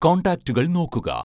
കോൺടാക്റ്റുകൾ നോക്കുക